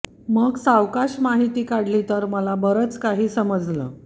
मग सावकाश माहिती काढली तर मला बरंच काही समजलं